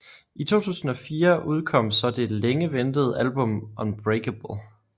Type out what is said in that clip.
I 2004 udkom så det længe ventede album Unbreakable